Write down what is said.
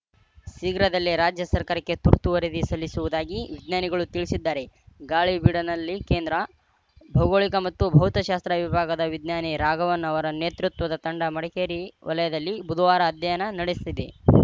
ಶೀಘ್ರದಲ್ಲೇ ರಾಜ್ಯ ಸರಕಾರಕ್ಕೆ ತುರ್ತು ವರದಿ ಸಲ್ಲಿಸುವುದಾಗಿ ವಿಜ್ಞಾನಿಗಳು ತಿಳಿಸಿದ್ದಾರೆ ಗಾಳಿಬೀಡಿನಲ್ಲಿ ಕೇಂದ್ರ ಭೌಗೋಳಿಕ ಮತ್ತು ಭೌತಶಾಸ್ತ್ರ ವಿಭಾಗದ ವಿಜ್ಞಾನಿ ರಾಘವನ್‌ ಅವರ ನೇತೃತ್ವದ ತಂಡ ಮಡಿಕೇರಿ ವಲಯದಲ್ಲಿ ಬುಧವಾರ ಅಧ್ಯಯನ ನಡೆಸಿದೆ